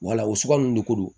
Wala o sugaro de ko don